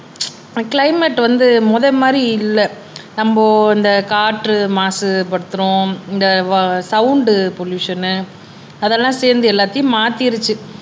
climate வந்து முதல் மாதிரி இல்லை நம்ம இந்த காற்று மாசுபடுத்துறோம் இந்த வ சவுண்ட் பொல்லுஷன் அதெல்லாம் சேர்ந்து எல்லாத்தையும் மாத்திடுச்சு